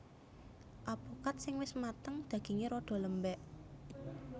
Apokat sing wis mateng dagingé rada lembèk